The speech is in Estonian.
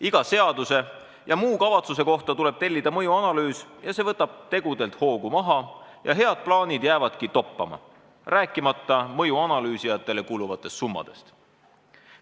Iga seaduse ja muu kavatsuse kohta tuleb tellida mõjuanalüüs ja see võtab tegudelt hoogu maha ja head plaanid jäävadki toppama, rääkimata mõjuanalüüsijatele kuluvatest summadest.